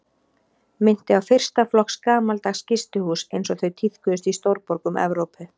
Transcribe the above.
Minnti á fyrsta flokks gamaldags gistihús einsog þau tíðkuðust í stórborgum Evrópu.